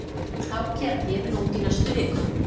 Ákæra gefin út í næstu viku